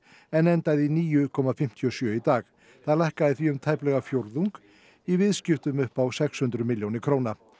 en endaði í níu komma fimmtíu og sjö í dag það lækkaði því um tæplega fjórðung í viðskiptum upp á sex hundruð milljónir króna